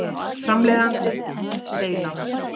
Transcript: Framleiðandi: Seylan.